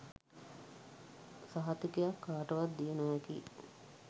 සහතිකයක් කාටවත් දිය නොහැකියි.